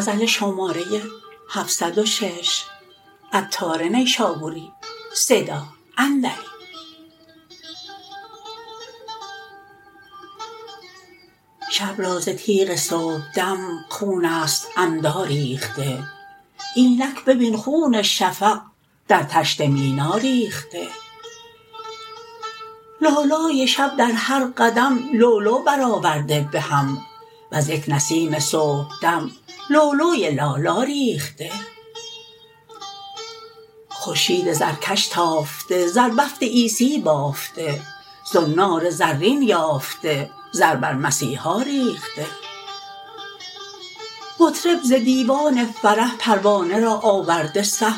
شب را ز تیغ صبحدم خون است عمدا ریخته اینک ببین خون شفق در طشت مینا ریخته لالای شب در هر قدم لؤلؤ بر آورده بهم وز یک نسیم صبحدم لؤلؤی لالا ریخته خورشید زرکش تافته زربفت عیسی بافته زنار زرین یافته زر بر مسیحا ریخته مطرب ز دیوان فرح پروانه را آورده صح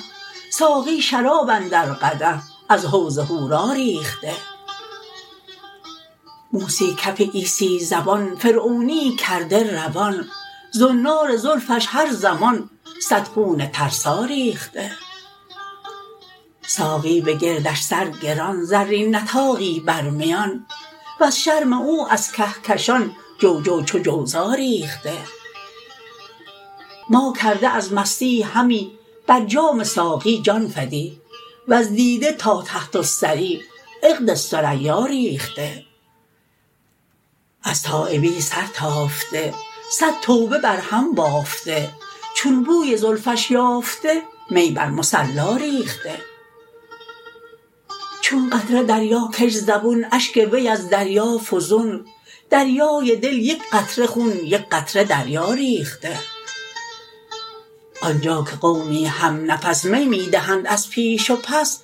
ساقی شراب اندر قدح از حوض حورا ریخته موسی کف عیسی زبان فرعونیی کرده روان زنار زلفش هر زمان صد خون ترسا ریخته ساقی به گردش سر گران زرین نطاقی بر میان وز شرم او از کهکشان جوجو چو جوزا ریخته ما کرده از مستی همی بر جام ساقی جان فدی وز دیده تا تحت الثری عقد ثریا ریخته از تایبی سر تافته صد توبه برهم بافته چون بوی زلفش یافته می بر مصلا ریخته چون قطره دریا کش زبون اشک وی از دریا فزون دریای دل یک قطره خون یک قطره دریا ریخته آنجا که قومی همنفس می می دهند از پیش و پس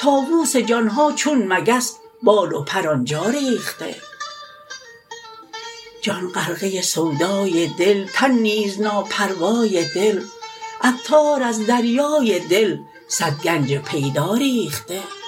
طاوس جان ها چون مگس بال و پر آنجا ریخته جان غرقه سودای دل تن نیز ناپروای دل عطار از دریای دل صد گنج پیدا ریخته